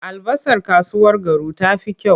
Albasar kasuwar Garu ta fi kyau.